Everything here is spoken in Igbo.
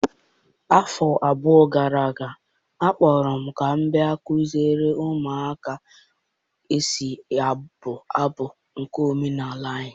Afọ abụọ gara aga, a kpọrọ m ka m bịa kuziere ụmụaka ka e si abụ abụ ndị omenala anyị.